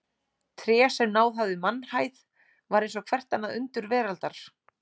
Tré sem náð hafði mannhæð var eins og hvert annað undur veraldar.